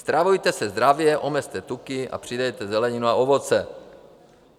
Stravujte se zdravě, omezte tuky a přidejte zeleninu a ovoce.